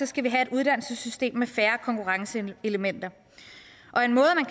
skal vi have et uddannelsessystem med færre konkurrenceelementer